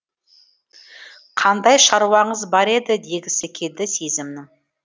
қандай шаруаңыз бар еді дегісі келді сезімнің